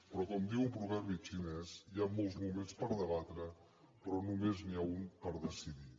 però com diu un proverbi xinès hi han molts moments per debatre però només n’hi ha un per decidir